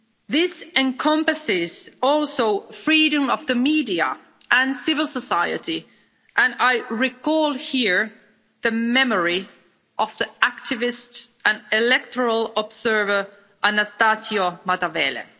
This encompasses also freedom of the media and civil society, and I recall here the memory of the activist and electoral observer, Anastácio Matavele.